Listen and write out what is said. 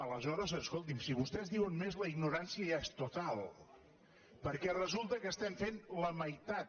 aleshores escolti’m si vostès diuen més la ignorància ja és total perquè resulta que n’estem fent la meitat